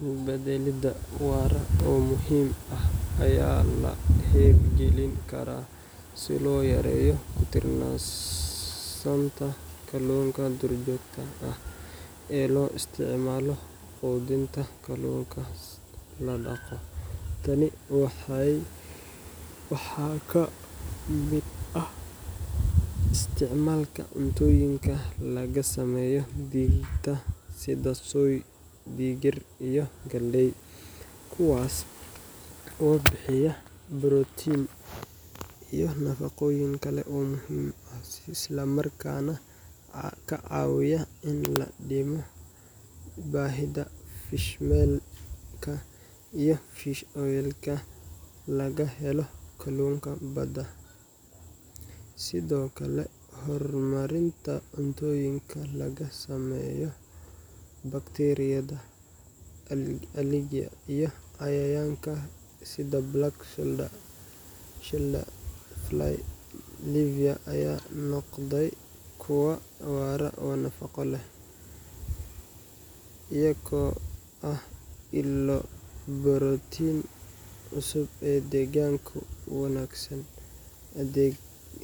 Dul badalida wara muhiim ah waa la heb galin kara si lo yareyo kutilasanka ee lo isticmalo qudhinta dulkas ladaqo, tani waxaa ka miid ah isticmalka cuntoyinka laga sameyo sitha soi digirta kuwas oo bixiya borotin iyo nafaqoyin kale oo muhiim ah isla markas nah kacawiyo in ladimo fishawelka laga helo bada,